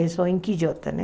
Isso é em Quijota, né?